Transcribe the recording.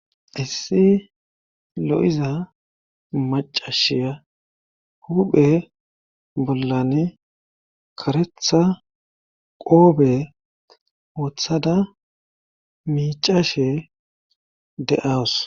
issi lo7iza macashiya huphe bollan karetha qoobe wothada miicashe de7aws